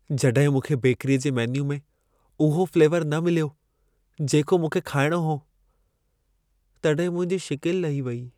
जॾहिं मूंखे बेकरीअ जे मेन्यू में उहो फ्लेवर न मिलियो, जेको मूंखे खाइणो हो, तॾहिं मुंहिंजी शिकिल लही वई।